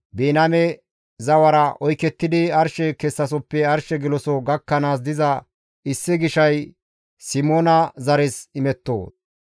Biniyaame zawara oykettidi arshe kessasoppe arshe geloso gakkanaas diza issi gishay Simoona zares imetto.